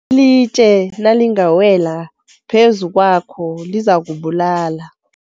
Ilitje nalingawela phezu kwakho lizakubulala.